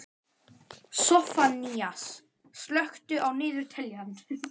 Soffanías, slökktu á niðurteljaranum.